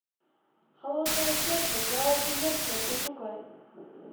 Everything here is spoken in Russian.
холодное сердце караоке версия пошукай